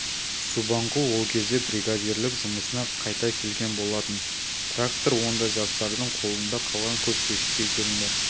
субанқұл ол кезде бригадирлік жұмысына қайта келген болатын трактор онда жастардың қолында қалған көп кешікпей келінді